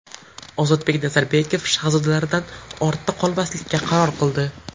Ozodbek Nazarbekov Shahzodalardan ortda qolmaslikka qaror qildi .